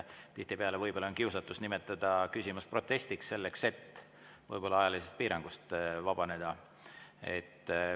Tihtipeale võib olla kiusatus nimetada küsimus protestiks, selleks et võib-olla ajalisest piirangust vabaneda.